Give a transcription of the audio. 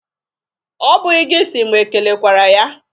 Ọ bụghị gị si mụ e kelekwere ya.